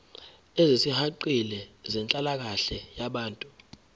ezisihaqile zenhlalakahle yabantu